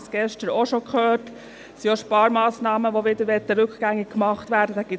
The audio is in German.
Wir haben bereits gestern gehört, dass Sparmassnahmen wieder rückgängig gemacht werden sollen.